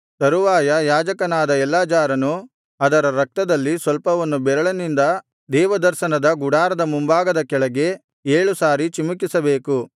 ತರುವಾಯ ಯಾಜಕನಾದ ಎಲ್ಲಾಜಾರನು ಅದರ ರಕ್ತದಲ್ಲಿ ಸ್ವಲ್ಪವನ್ನು ಬೆರಳಿನಿಂದ ದೇವದರ್ಶನದ ಗುಡಾರದ ಮುಂಭಾಗದ ಕಡೆಗೆ ಏಳು ಸಾರಿ ಚಿಮಿಕಿಸಬೇಕು